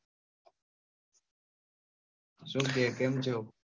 શું કે કેમ છો?